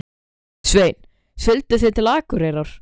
Sveinn: Siglduð þið til Akureyrar?